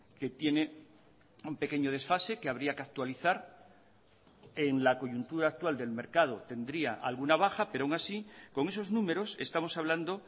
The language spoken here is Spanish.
que tiene un pequeño desfase que habría que actualizar en la coyuntura actual del mercado tendría alguna baja pero aun así con esos números estamos hablando